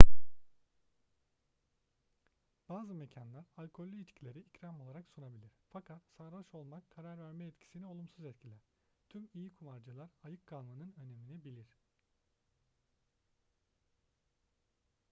bazı mekanlar alkollü içkileri ikram olarak sunabilir fakat sarhoş olmak karar verme yetisini olumsuz etkiler tüm iyi kumarcılar ayık kalmanın önemini bilir